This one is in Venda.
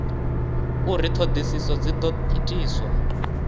uri ṱhoḓisio dzi ḓo itiswa